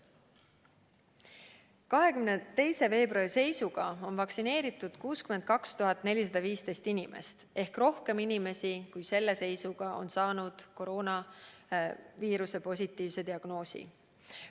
22. veebruari seisuga on vaktsineeritud 62 415 inimest ehk rohkem inimesi, kui selle seisuga on saanud koroonaviiruse positiivse diagnoosi.